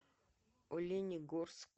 оленегорск